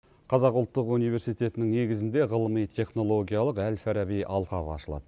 қазақ ұлттық университетінің негізінде ғылыми технологиялық әл фараби алқабы ашылады